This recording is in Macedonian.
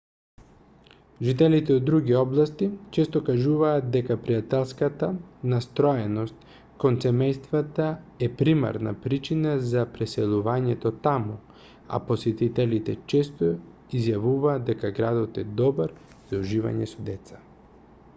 жителите од други области често кажуваат дека пријателската настроеност кон семејствата е примарна причина за преселувањето таму а посетителите често изјавуваат дека градот е добар за уживање со деца